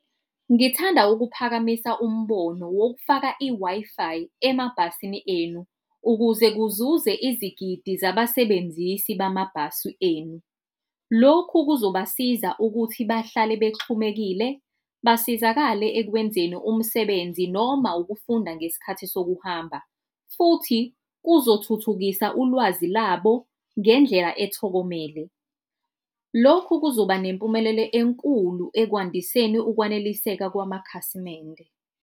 Ngithanda ukuphakamisa umbono wokufaka i-Wi-Fi emabhasini enu ukuze kuzuze izigidi zabasebenzisi bamabhasi enu. Lokhu kuzobasiza ukuthi bahlale bexhumekile basizakale ekwenzeni umsebenzi noma ukufunda ngesikhathi sokuhamba, futhi kuzothuthukisa ulwazi labo ngendlela ethokomele. Lokhu kuzoba nempumelelo enkulu ekwandiseni ukwaneliseka kwamakhasimende.